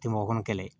Tɛ mɔgɔ kɔnɔ kɛlɛ ye